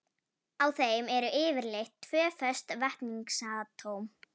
Á þeim eru yfirleitt tvö föst vetnisatóm.